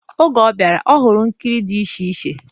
Oge ọ bịara, ọ hụrụ ihe nkiri dịcha iche.